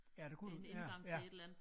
Ja det kunne det ja ja